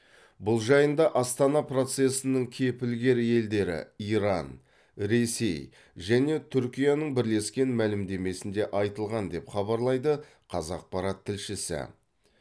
бұл жайында астана процесінің кепілгер елдері иран ресей және түркияның бірлескен мәлімдемесінде айтылған деп хабарлайды қазақпарат тілшісі